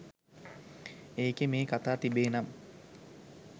ඒකෙ මේ කතා තිබේනම්